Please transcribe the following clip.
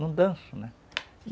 Não danço, né?